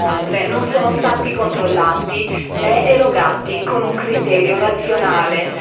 Inoltre, non sono stati controllati né erogati con un criterio razionale.